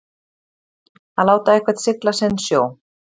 Að láta einhvern sigla sinn sjó